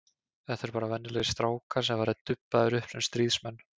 Þetta eru bara venjulegir strákar sem hafa verið dubbaðir upp sem stríðsmenn.